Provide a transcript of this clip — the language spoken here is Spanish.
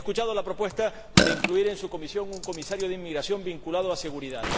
He escuchado la propuesta de incluir en su Comisión a un Comisario de Inmigración vinculado a la seguridad.